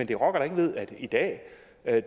det rokker da ikke ved at i dag